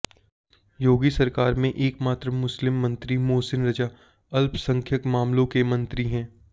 योगी सरकार में एकमात्र मुस्लिम मंत्री मोहसिन रजा अल्पसंख्यक मामलों के मंत्री हैं